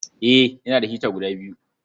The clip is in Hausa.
Eh, ina da hita guda biyu.